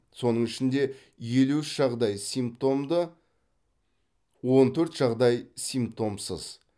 соның ішінде елу үш жағдай симптомды он төрт жағдай симптомсыз